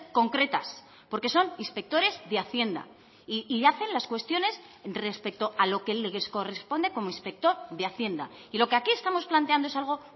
concretas porque son inspectores de hacienda y hacen las cuestiones respecto a lo que les corresponde como inspector de hacienda y lo que aquí estamos planteando es algo